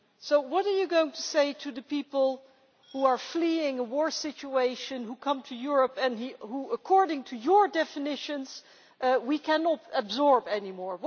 So what are you going to say to the people who are fleeing a war situation, who come to Europe and who, according to your definitions, we cannot absorb any more?